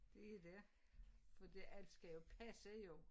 Det dét fordi alt skal jo passe jo